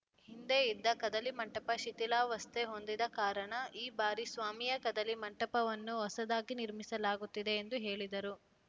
ಹಿಂದೆ ಇದ್ದ ಕದಲಿ ಮಂಟಪ ಶಿಥಿಲಾವಸ್ಥೆ ಹೊಂದಿದ್ದ ಕಾರಣ ಈ ಬಾರಿ ಸ್ವಾಮಿಯ ಕದಲಿ ಮಂಟಪವನ್ನು ಹೊಸದಾಗಿ ನಿರ್ಮಿಸಲಾಗುತ್ತಿದೆ ಎಂದು ಹೇಳಿದರು